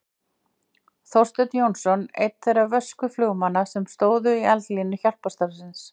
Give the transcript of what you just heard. Þorsteinn Jónsson einn þeirra vösku flugmanna sem stóðu í eldlínu hjálparstarfsins.